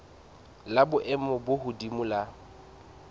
la boemo bo hodimo la